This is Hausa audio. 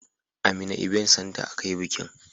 A mina ibent santa a ka yi bikin